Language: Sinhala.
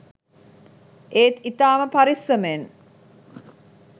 ඒත් ඉතාම පරෙස්සමෙන්